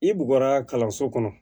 I bɔgɔa kalanso kɔnɔ